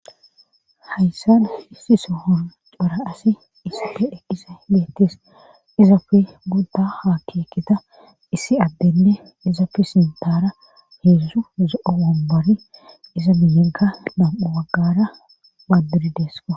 Hayssan issi sohon cora asi isafe dheqqise leettes izapfe gudda ha keekita issi addenne izafe sintara heedzdu zo'o wombori iza minyegga nam'u waggara badduridesko.